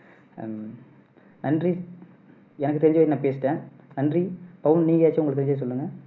அஹ் நன்றி எனக்கு தெரிஞ்சதை நான் பேசிட்டேன் நன்றி பவுன் நீங்க எதாச்சும் உங்களுக்கு தெரிஞ்சதை சொல்லுங்க